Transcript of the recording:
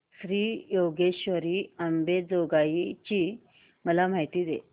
श्री योगेश्वरी अंबेजोगाई ची मला माहिती दे